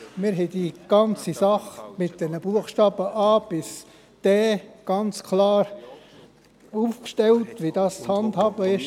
Wir haben die ganze Sache mit den Buchstaben a–d ganz klar aufgestellt, wie das zu handhaben ist.